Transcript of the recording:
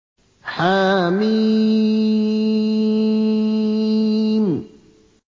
حم